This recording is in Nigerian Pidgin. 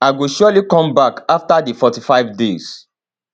i go surely come back afta di 45 days